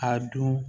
A don